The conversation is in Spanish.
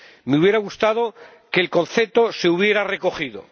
Me hubiera gustado que el concepto se hubiera recogido.